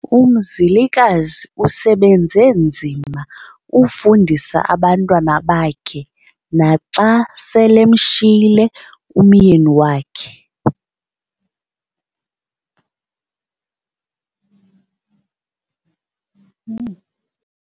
Umzalikazi usebenze nzima efundisa abantwana bakhe naxa selemshiyile umyeni wakhe.